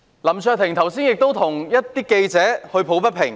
林卓廷議員剛才亦替記者抱不平。